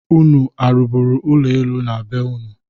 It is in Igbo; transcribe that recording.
Unu arụburu ụlọ enu na be ụnụ?